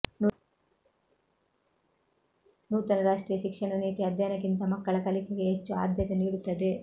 ನೂತನ ರಾಷ್ಟ್ರೀಯ ಶಿಕ್ಷಣ ನೀತಿ ಅಧ್ಯಯನಕ್ಕಿಂತ ಮಕ್ಕಳ ಕಲಿಕೆಗೆ ಹೆಚ್ಚು ಆದ್ಯತೆ ನೀಡುತ್ತದೆ